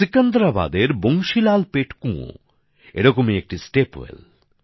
সিকান্দ্রাবাদের বংশী লাল পেট কুঁয়ো এরকমই একটি স্টেপ well